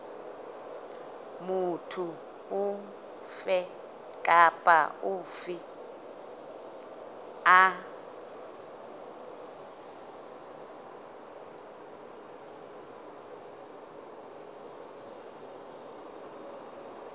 motho ofe kapa ofe a